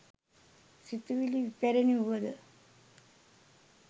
සිතුවිලි ඉපැරණි වුව ද